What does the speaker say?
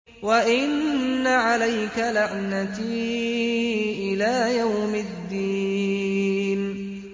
وَإِنَّ عَلَيْكَ لَعْنَتِي إِلَىٰ يَوْمِ الدِّينِ